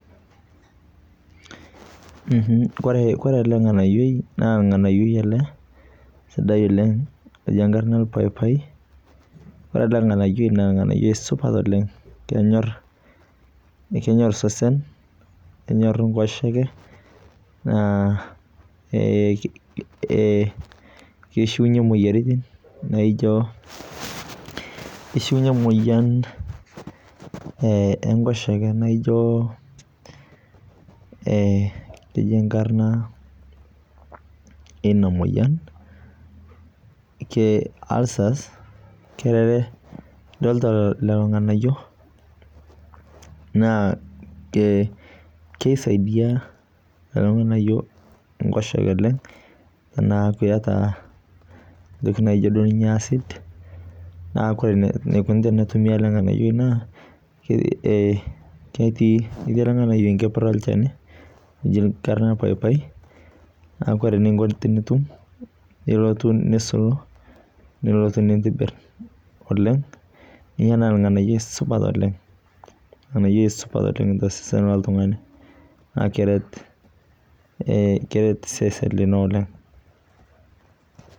ore ele nganayioi naa ornganayioi sidai oleng oji orpaipai, ore ele nganayioi naa ornganyioi supat oleng. kenyor osesen, kenyor enkoshoeke. naa kishiunye moyiaritin, ee kishunyie imoyian enkoshoke, keji enkarna eina moyian ulcers. kerere. idoolta lelo nganyio naa kisaidia lelo nganyio nkoshoke oleng anaa pee iyata entoki naijo acid, naa ore eneikoni tenetumi ele nganayioi naa, ketiii ilnganyio enkeper olchani, keji enkarna paiapi. naa ore eninko tenitum ilotu nisulu, nilotu nintibir oleng. naa olnganayioi supat oleng. olnganyioi supat oleng tosesen loltungani naa keret. keret sesenlino oleng.